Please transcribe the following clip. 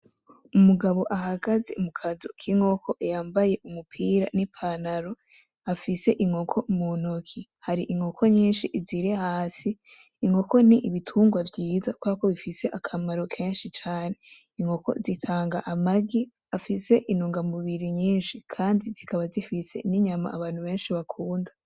Umugabo ahagaze mu kazu k’inkoko yambaye umupira n’ipantaro, afise inkoko mu ntoke , hari inkoko nyinshi ziri hasi . Inkoko ni Ibitungwa vyiza kubera ko zifise akamaro kenshi cane . Inkoko zitanga amagi afise intungamubiri nyinshi kandi zikaba zifise inyama abantu benshi bakunda.